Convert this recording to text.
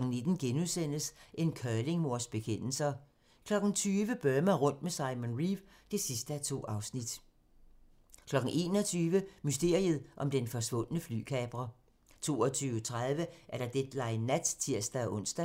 19:00: En curlingmors bekendelser * 20:00: Burma rundt med Simon Reeve (2:2) 21:00: Mysteriet om den forsvundne flykaprer 22:30: Deadline Nat (tir-ons)